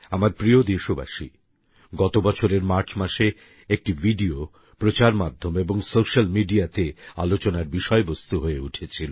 আমার প্রিয় দেশবাসী গত বছরের মার্চ মাসে একটি ভিডিও প্রচারমাধ্যম এবং সোশ্যাল মিডিয়াতে আলোচনার বিষয়বস্তু হয়ে উঠেছিল